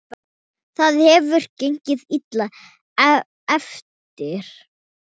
Það hefur gengið illa eftir.